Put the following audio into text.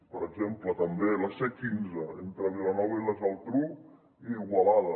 per exemple també a la c quinze entre vilanova i la geltrú i igualada